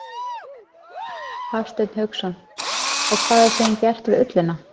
Hafsteinn Hauksson: Og hvað er síðan gert við ullina?